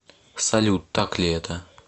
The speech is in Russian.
салют так ли это